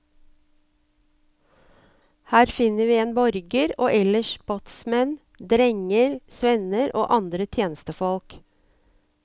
Her finner vi en borger og ellers båtsmenn, drenger, svenner og andre tjenestefolk.